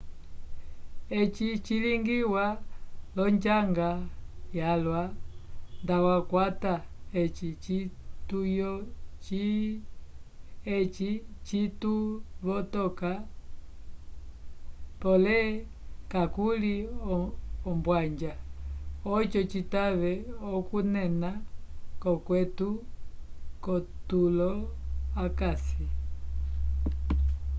eci cilingiwa l'onjanga yalwa ndatwakwata eci cituvotoka pole kakuli ombwanja oco citave okuunena k'okweto k'otulo akasi